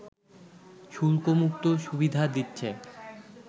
শুল্কমুক্ত সুবিধা দিচ্ছে